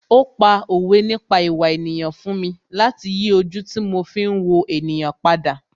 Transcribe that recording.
Ó pa òwe nípa ìwà ènìyàn fún mi láti yí ojú tí mo fi ń wo ènìyàn padà